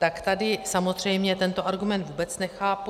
Tak tady samozřejmě tento argument vůbec nechápu.